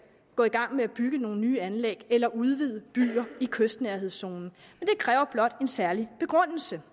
gå i gang med at bygge nogle nye anlæg eller udvide byer i kystnærhedszonen det kræver blot en særlig begrundelse